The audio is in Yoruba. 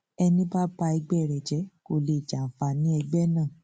ẹní bá ba ẹgbẹ rẹ jẹ kó lè jẹ àǹfààní ẹgbẹ náà